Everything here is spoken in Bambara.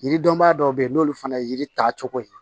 Yiridɔnbaa dɔw bɛ yen n'olu fana ye yiri ta cogo ye